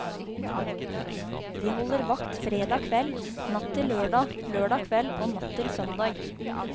De holder vakt fredag kveld, natt til lørdag, lørdag kveld og natt til søndag.